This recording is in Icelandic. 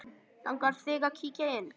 Langar þig að kíkja inn?